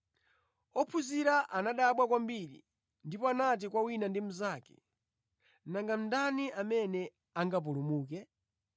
Ophunzira anadabwa kwambiri, ndipo anati kwa wina ndi mnzake, “Nanga ndani amene angapulumuke?”